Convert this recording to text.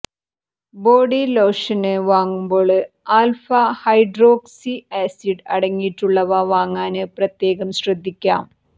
body lotion വാങ്ങുമ്പോള് alpha hydroxy acid അടങ്ങിയിട്ടുള്ളവ വാങ്ങാന് പ്രത്യേകം ശ്രദ്ധിക്കാം